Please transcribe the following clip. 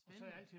Spændende